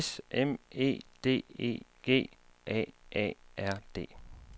S M E D E G A A R D